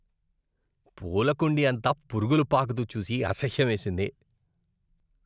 పూల కుండీ అంతా పురుగులు పాకుతూ చూసి అసహ్యమేసింది.